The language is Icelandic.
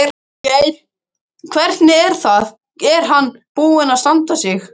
Þorgeir: Hvernig er hann búinn að standa sig?